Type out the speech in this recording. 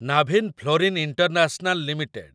Navin fluorine international limited